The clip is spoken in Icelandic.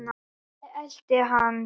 Lalli elti hann.